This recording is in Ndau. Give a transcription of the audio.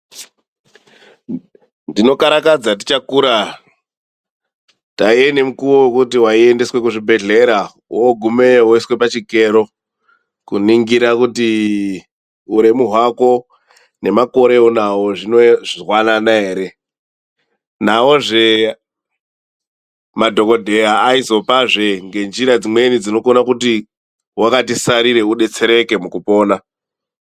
Tinokarakadza tichakura taiendeswa kuchibhehlera woiswe pachikero kuningire kuti uremu hwako nemakore aunawo zviri kuhambidzana ere. Madhokotera aizopazve njira dzimweni dzekuti kana wakati sarei uone kudetsereka pakupona.